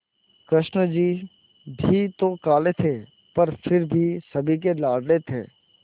कृष्ण जी भी तो काले थे पर फिर भी सभी के लाडले थे